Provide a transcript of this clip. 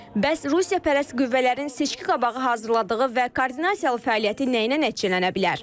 Bəs Rusiya pərəst qüvvələrin seçki qabağı hazırladığı və koordinasiyalı fəaliyyəti nə ilə nəticələnə bilər?